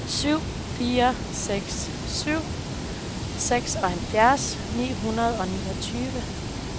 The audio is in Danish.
syv fire seks syv seksoghalvfjerds ni hundrede og niogtyve